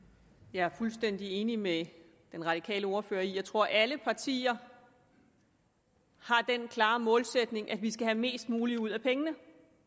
jeg er fuldstændig enig med den radikale ordfører jeg tror alle partier har den klare målsætning at vi skal have mest muligt ud af pengene